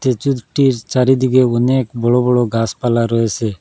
চারিদিকে অনেক বড় বড় গাসপালা রয়েসে।